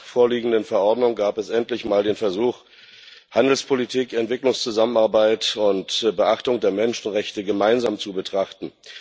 Mit der vorliegenden Verordnung gab es endlich einmal den Versuch, Handelspolitik, Entwicklungszusammenarbeit und Beachtung der Menschenrechte gemeinsam zu betrachten.